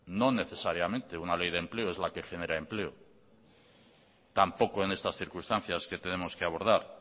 no necesariamente una ley de empleo es la que genera empleo tampoco en estas circunstancias que tenemos que abordar